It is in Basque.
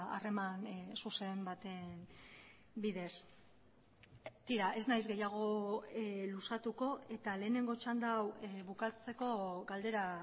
harreman zuzen baten bidez tira ez nahiz gehiago luzatuko eta lehenengo txanda hau bukatzeko galdera